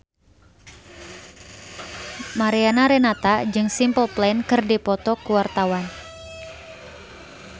Mariana Renata jeung Simple Plan keur dipoto ku wartawan